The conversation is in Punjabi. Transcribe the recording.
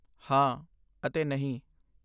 ਹਾਂ ਅਤੇ ਨਹੀਂ!